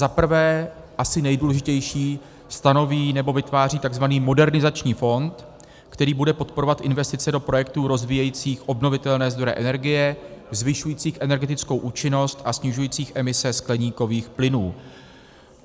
Za prvé - asi nejdůležitější - stanoví nebo vytváří tzv. Modernizační fond, který bude podporovat investice do projektů rozvíjejících obnovitelné zdroje energie, zvyšujících energetickou účinnost a snižujících emise skleníkových plynů.